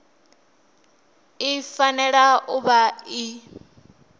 i fanela u vha i